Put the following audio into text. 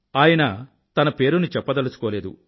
ఆయన తన పేరుని చెప్పదలుచుకోలేదు